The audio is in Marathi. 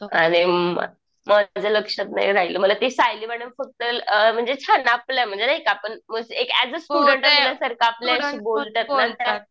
आणि म माझ्या लक्षात नाही राहील मला त्या सायली मॅडम फक्त म्हणजे अ छान आपल्या म्हणजे नाही का ऐज अ स्टुडन्ट असल्यासारखं आपल्याशी बोलून